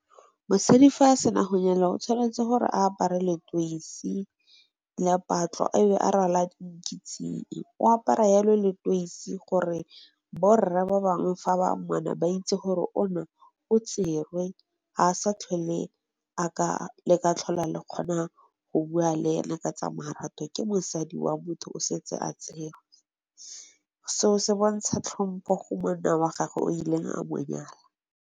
Mosadi fa a sena go nyala o tshwanetse gore a apare letoisi la patlo e be a rwala nkitsing. O apara yalo letoisi gore bo rre ba bangwe fa ba mmona ba itse gore ona o tserwe ga a sa tlhole a ka, le ka tlhole kgona go bua le ena ka tsa marato ke mosadi wa motho o setse a tserwe. Seo se bontsha tlhompo go monna wa gagwe o ileng a mo nyala..